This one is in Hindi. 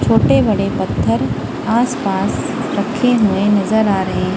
छोटे बड़े पत्थर आस पास रखे हुए नजर आ रहे--